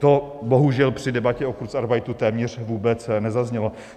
To bohužel při debatě o kurzarbeitu téměř vůbec nezaznělo.